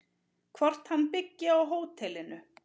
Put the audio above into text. Hvort hann byggi á hótelinu?